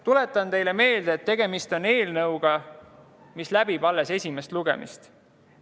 Tuletan teile meelde, et tegemist on eelnõuga, mis on alles esimesel lugemisel.